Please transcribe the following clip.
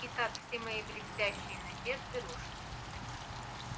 итак все мои блестящие надежды рушились